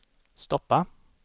stoppa